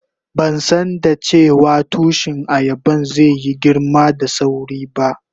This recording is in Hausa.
Ban san dace wa tushi ayaban zai yi girma da sawri ba.